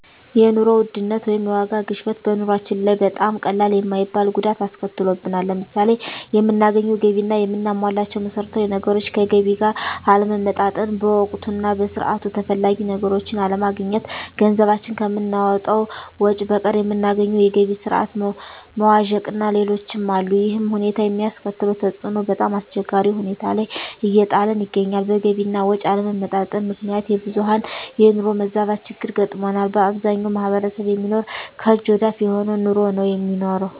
የኑሮ ውድነት ወይም የዋጋ ግሽበት በኑሮአችን ላይ በጣም ቀላል የማይባል ጉዳት አስከትሎብናል። ለምሳሌ የምናገኘው ገቢ እና የምናሟላቸው መሠረታዊ ነገሮች ከገቢ ጋር አለመመጣጠን፣ በወቅቱ እና በሰዓቱ ተፈላጊ ነገሮችን አለማግኘት፣ ገንዘባችን ከምናወጣው ወጭ በቀር የምናገኘው የገቢ ስረዓት መዋዠቅእና ሌሎችም አሉ። ይሕም ሁኔታ የሚያስከትለው ተፅዕኖ በጣምአስቸጋሪ ሁኔታ ላይ እየጣለን ይገኛል። በገቢ አና ወጭ አለመመጣጠን ምክንያት የብዙሀን የኑሮ መዛባት ችግር ገጥሞናል። በአብዛኛው ማሕበረሰብ የሚኖረው ከእጅ ወደ አፍ የሆነ ኑሮ ነው የሚኖረው።